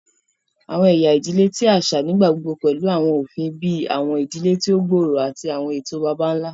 Awọn ẹya idile ti aṣa nigbagbogbo pẹlu awọn ofin bii awọn idile ti o gbooro ati awọn eto baba-nla.